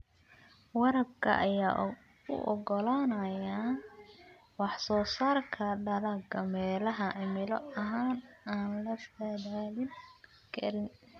Waraabka ayaa u oggolaanaya wax-soo-saarka dalagga meelaha cimilo ahaan aan la saadaalin karin.